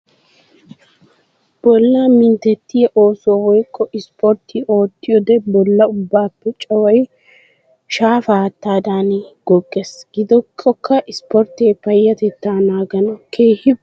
Bolla minttetiya oosuwa woykko ispporttiya ootiyoode bolla ubbappe caway shaafa haattadanni googees. Giddikokka ispportte payatetta naaganawu keehippe daro go'a immes.